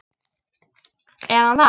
Er hann það?